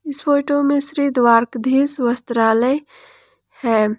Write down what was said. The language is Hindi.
इस फोटो में श्री द्वारकाधीश वस्त्रालय है।